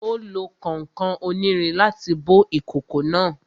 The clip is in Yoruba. Ó lo kànkàn onírin láti bó ìkòkò náà